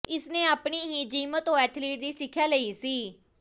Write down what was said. ਇਸਨੇ ਆਪਣੀ ਹੀ ਜਿਮ ਤੋਂ ਐਥਲੀਟ ਦੀ ਸਿੱਖਿਆ ਲਈ ਸੀ